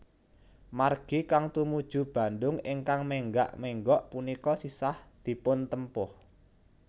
Margi kang tumuju Bandung ingkang menggak menggok punika sisah dipuntempuh